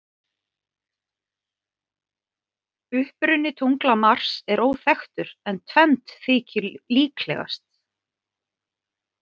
Uppruni tungla Mars er óþekktur, en tvennt þykir líklegast.